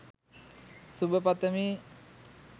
සුබ පතමි.